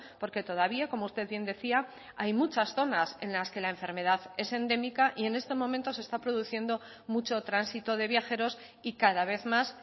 porque todavía como usted bien decía hay muchas zonas en las que la enfermedad es endémica y en estos momentos se está produciendo mucho tránsito de viajeros y cada vez más